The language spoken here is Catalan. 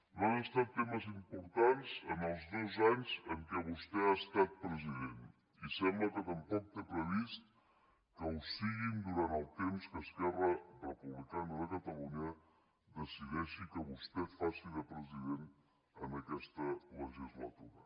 no han estat temes importants en els dos anys en què vostè ha estat president i sembla que tampoc té previst que ho siguin durant el temps que esquerra republicana de catalunya decideixi que vostè faci de president en aquesta legislatura